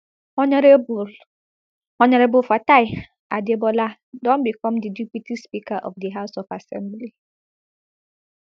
honourable honourable fatai adebola don become di deputy speaker of di house of assembly